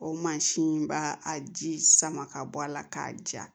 O mansin b'a a ji sama ka bɔ a la k'a ja